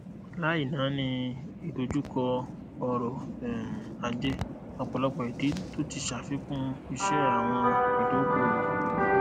láì nani idojukọ ọrọ um ajé ọpọlọpọ ìdí tó ti ṣàfikún ise àwọn ìdókoowò